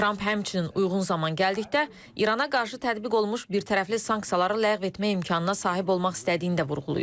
Tramp həmçinin uyğun zaman gəldikdə İrana qarşı tətbiq olunmuş birtərəfli sanksiyaları ləğv etmək imkanına sahib olmaq istədiyini də vurğulayıb.